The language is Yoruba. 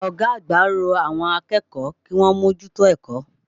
Ọ̀gá àgbà rọ àwọn akẹ́kọ̀ọ́ kíwọ́n mójútó ẹ̀kọ́.